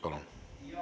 Palun!